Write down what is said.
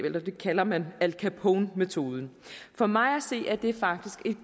det kalder man al capone metoden for mig at se er det faktisk et